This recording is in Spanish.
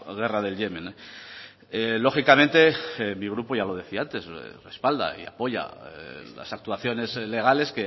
guerra del yemen lógicamente mi grupo ya lo decía antes respalda y apoya las actuaciones legales